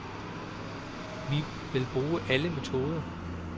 Vi vil bruge alle metoder.